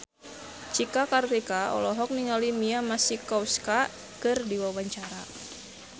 Cika Kartika olohok ningali Mia Masikowska keur diwawancara